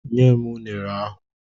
Nye m unere ahụ!